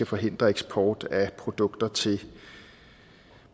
forhindre eksport af produkter til